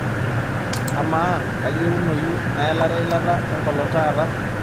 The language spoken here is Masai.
amaa kaayieunoyu naelare eilata enkolong taata